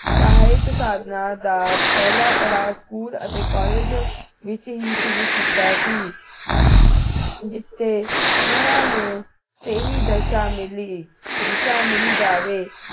ਸਹਾਇਕ ਸਾਧਨਾ ਦਾ ਪਹਿਲਾ ਪੜਾਅ school ਅਤੇ college ਵਿਚ ਹੀ ਸ਼ੁਰੂ ਕੀਤਾ ਸੀ ਜਿੱਥੇ ਉਨ੍ਹਾਂ ਨੂੰ ਸਹੀ ਦਿਸ਼ਾ ਮਿਲੀ ਦਿਸ਼ਾ ਮਿਲ ਜਾਵੇ